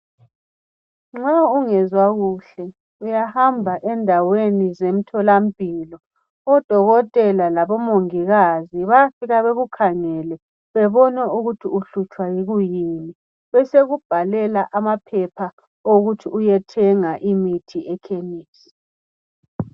Nxa ungezwa kuhle emzimbeni uyahamba endaweni zemtholampilo. Lapho uyothola odokotela labo mongikazi bekuhlole bebone ukuthi uhlutshwa yini, njalo bayakubhalela incwadi yokuthi uyethenga imithi lamaphilisi epharmacy.